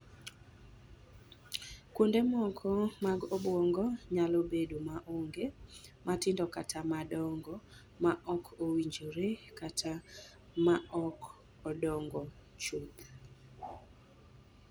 Kuonde moko mag obuongo nyalo bedo maonge, matindo kata madongo ma ok owinjore kata ma ok odongo chuth.